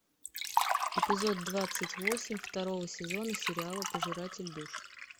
эпизод двадцать восемь второго сезона сериала пожиратель душ